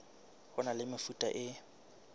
ho na le mefuta e